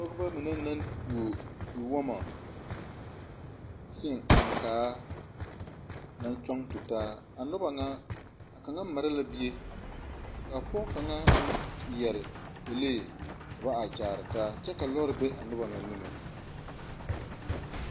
Pɔgeba mine naŋ toɔ tewoma seŋ aŋkaa naŋ gyɔŋ tutaa a noba ŋa a kaŋa mare la bie ka pɔge kaŋa meŋ are peɛle pɛlee ka ba are kyaare taa a kyɛ ka loori be a noba ŋa niŋe.